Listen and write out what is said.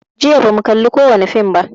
Jiya ba mu kalli kowani fim ba